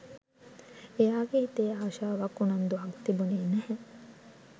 එයාගේ හිතේ ආශාවක් උනන්දුවක් තිබුණේ නැහැ